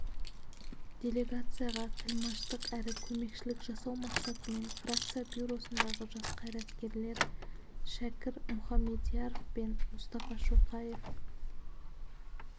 делегацияға тілмәштық әрі көмекшілік жасау мақсатымен фракция бюросындағы жас қайраткерлер шәкір мұхамедияров пен мұстафа шоқаев